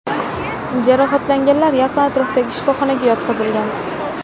Jarohatlanganlar yaqin atrofdagi shifoxonaga yetkazilgan.